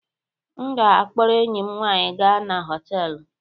M ga-akpọrọ enyi m nwanyị gaa na họtelu.